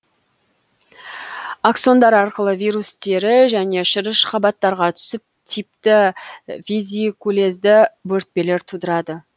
аксондар арқылы вирус тері және шырыш қабаттарға түсіп типті везикулезды бөртпелер тудырады